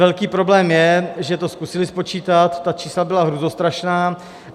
Velký problém je, že to zkusili spočítat, ta čísla byla hrůzostrašná.